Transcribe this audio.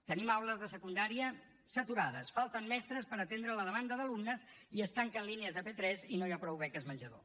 tenim aules de secundària saturades falten mestres per atendre la demanda d’alumnes i es tanquen línies de p3 i no hi ha prou beques menjador